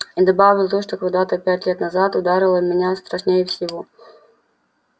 и добавил то что когда-то пять лет назад ударило меня страшнее всего